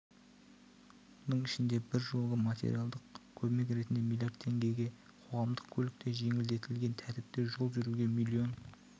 оның ішінде біржолғы материалдық көмек ретінде миллиард теңге қоғамдық көлікте жеңілдетілген тәртіпте жол жүруге миллион